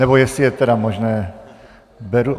Nebo jestli je tedy možné...